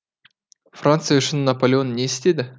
франция үшін наполеон не істеді